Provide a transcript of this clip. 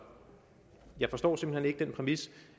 jeg forstår simpelt hen ikke den præmis